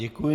Děkuji.